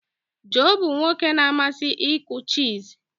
Joe bụ nwoke na-amasị ịkụ chess.